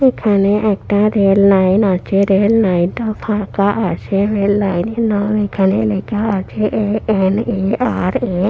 এখানে একটা রেললাইন আছে রেললাইন টা ফাঁকা আছে রেললাইন এর নাম এখানে লেখা আছে এ.এন.এ.আর.এ ।